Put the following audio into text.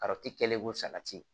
kɛlen ko salati